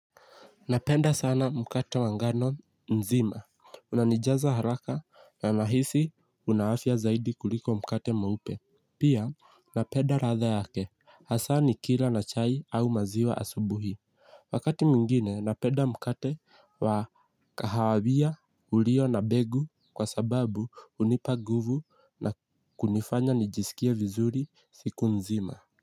Napenda sana mukata wangano mzimba. Unanijaza haraka na mahisi una afya zaidi kuliko mukate mweupe. Pia, napenda radha yake. Hasa nikira na chai au maziwa asubuhi. Wakati mwingine, napenda mukate wa kahawa wia ulio na begu kwa sababu unipa nguvu na kunifanya nijisikie vizuri siku nzima.